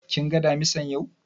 Kin ga Damisan yau?